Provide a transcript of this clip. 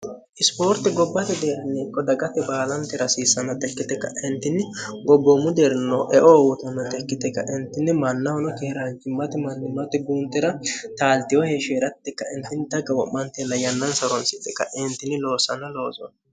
isipoorti gobbate deerniiqo dagate baalante rasiissano tikkite kaentinni gobboommu deerno eoo wotoonnotikkite kaentinni mannahono kihiraancimmati mannimmati guuntira taaltiyo heeshsheeratti kaintinni xagga wo'mantella yannansa ronsite kaeentinni loossano looso